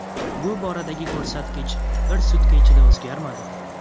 Bu boradagi ko‘rsatkich bir sutka ichida o‘zgarmadi.